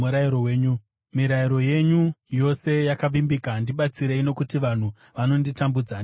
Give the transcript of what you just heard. Mirayiro yenyu yose yakavimbika, ndibatsirei, nokuti vanhu vanonditambudza ndisina mhaka.